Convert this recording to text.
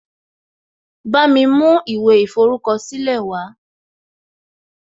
Bámi mú ìwé ìforúkọ̀sílẹ̀ wàá